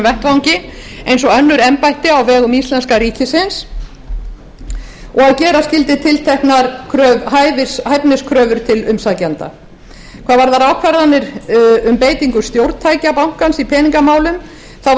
vettvangi eins og önnur embætti á vegum íslenska ríkisins og gera skyldi tilteknar hæfiskröfur til umsækjanda hvað varðar ákvarðanir um beitingu stjórntækja bankans í peningamálum var